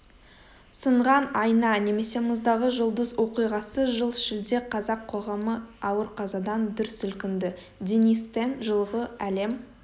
сынған айнанемесе мұздағы жұлдызоқиғасы жыл шілде қазақ қоғамы ауыр қазадан дүр сілкінді денис тен жылғы әлем